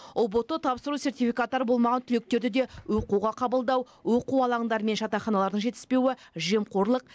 ұбт тапсыру сертификаттары болмаған түлектерді де оқуға қабылдау оқу алаңдары мен жатақханалардың жетіспеуі жемқорлық